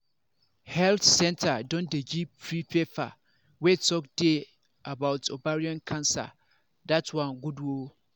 health centre don dey give freepaper wey talk dey about ovarian cancer that one good ooo